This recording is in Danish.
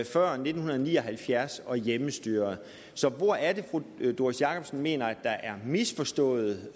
før nitten ni og halvfjerds og hjemmestyret så hvor er det fru doris jakobsen mener at der er en misforstået